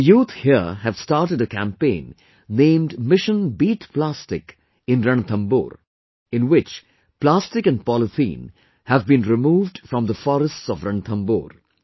The youth here have started a campaign named 'Mission Beat Plastic' in Ranthambore, in which plastic and polythene have been removed from the forests of Ranthambore